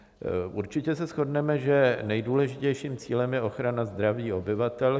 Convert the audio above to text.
Určitě se shodneme, že nejdůležitějším cílem je ochrana zdraví obyvatel.